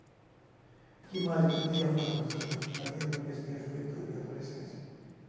O que mais eu poderia falar dos anos da minha adoles minha juventude, minha adolescência?